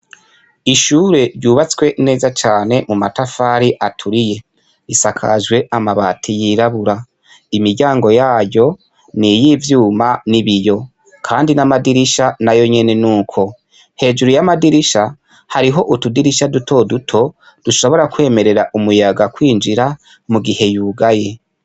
Ishure ryubatswe neza cane mu matafari aturiye, risakajwe amabati yirabura, imiryango yaryo niz'ivyuma n'ibiyo, kandi n'amadirisha nayonyene nuko ,hejuru y'amadirisha hariho utudirisha duto duto, dushobora kwemerera umuyaga kwinjira mugihe yugaye.